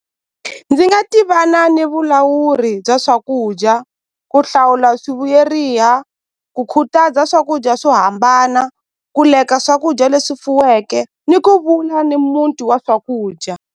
Ndzi nga tivana ni vulawuri bya swakudya ku hlawula swivuyeriha ku khutaza swakudya swo hambana ku lack-a swakudya leswi fuweke ni ku ni muti wa swakudya.